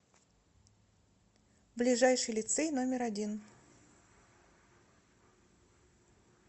ближайший лицей номер один